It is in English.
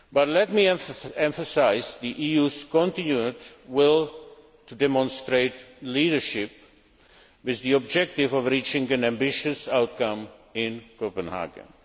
Let me emphasise the EU's continued will to demonstrate leadership, with the objective of reaching an ambitious outcome in Copenhagen.